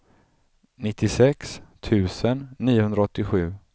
nittiosex tusen niohundraåttiosju